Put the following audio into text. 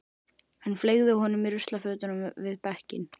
Hann fleygði honum í ruslafötuna við bekkinn.